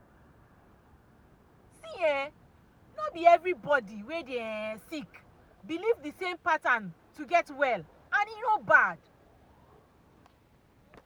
see[um]no be everybody wey dey sick believe the same pattern no get well and e no bad.